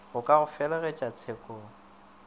go ka go felegetša tshekong